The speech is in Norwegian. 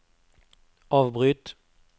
avbryt